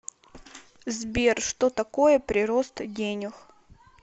сбер что такое прирост денег